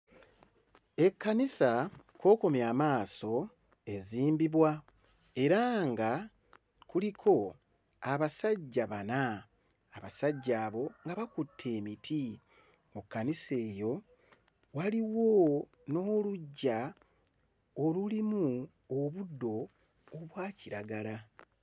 Ekkanisa kw'okomya amaato ezimbibwa. Era nga kuliko abasajja bana. Abasajja abo nga bakutte emiti. Ku kkanisa eyo waliwo n'oluggya olulimi obuddo obwa kiragala.